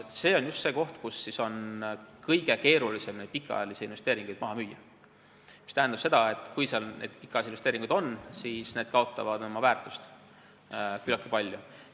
See on just see koht, kus pikaajalisi investeeringuid on kõige keerulisem maha müüa, mis tähendab seda, et kui seal on need pikaajalised investeeringud, siis need kaotavad oma väärtust küllaltki palju.